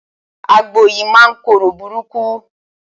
Àgbò yìí máa ń korò burúkú.